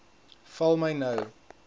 val my nou